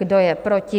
Kdo je proti?